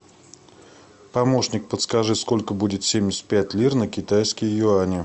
помощник подскажи сколько будет семьдесят пять лир на китайские юани